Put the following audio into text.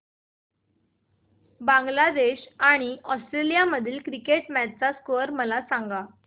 बांगलादेश आणि ऑस्ट्रेलिया मधील cricket match चा स्कोअर मला सांगा